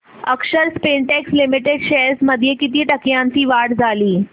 अक्षर Spintex Limited shares मध्ये किती टक्क्यांची वाढ झाली